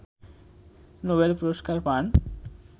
Nobel পুরস্কার পান